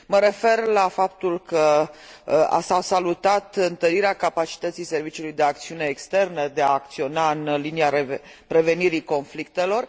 Mă refer la faptul că s a salutat întărirea capacității Serviciului de Acțiune Externă de a acționa în linia prevenirii conflictelor.